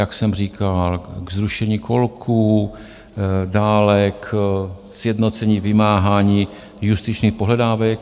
Jak jsem říkal, k zrušení kolků, dále k sjednocení vymáhání justičních pohledávek.